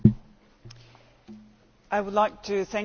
I would like to thank you all for your comments.